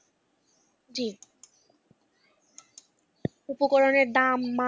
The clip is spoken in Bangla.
জি উপকরণের দাম মাপ ।